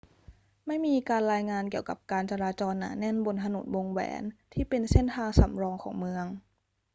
ไม่มีการรายงานเกี่ยวกับการจราจรหนาแน่นบนถนนวงแหวนที่เป็นเส้นทางสำรองของเมือง